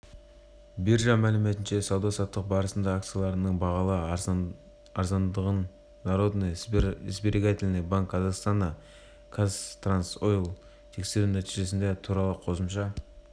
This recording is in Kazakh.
биржа мәліметінше сауда-саттық барысында акцияларының бағалары арзандағандар народный сберегательный банк казахстана казтрансойл тексеру нәтижелері туралы қосымша